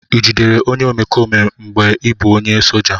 Ị jidere onye omekome mgbe ị bụ onye soja?